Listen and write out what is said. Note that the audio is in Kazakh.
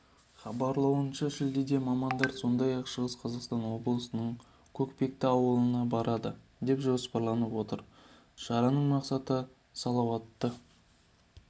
хабарлауынша шілдеде мамандар сондай-ақ шығыс қазақстан облысының көкпекті ауылына барады деп жоспарланып отыр шараның мақсаты салауатты